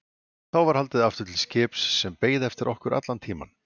Þá var haldið aftur til skips sem beið eftir okkur allan tímann.